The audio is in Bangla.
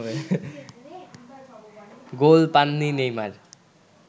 গোল পাননি নেইমার